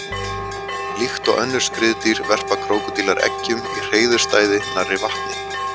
Líkt og önnur skriðdýr verpa krókódílar eggjum í hreiðurstæði nærri vatni.